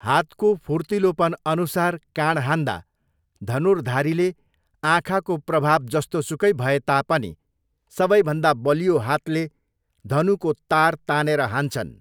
हातको फुर्तिलोपनअनुसार काँड हान्दा, धनुर्धारीले आँखाको प्रभाव जस्तोसुकै भए तापनि सबैभन्दा बलियो हातले धनुको तार तानेर हान्छन्।